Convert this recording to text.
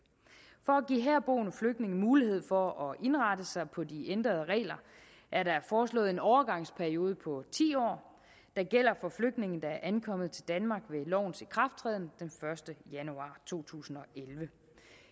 for at give herboende flygtninge mulighed for at indrette sig på de ændrede regler er der foreslået en overgangsperiode på ti år der gælder for flygtninge der er ankommet til danmark ved lovens ikrafttræden den første januar to tusind og elleve